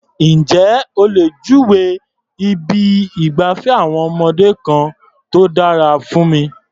Ǹjé o lè júwèé ibi ìgbafẹ́ àwọn ọmọdé kan tó dára fún mi?